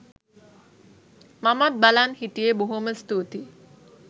මමත් බලන් හිටියේ බොහෝම ස්තුතියි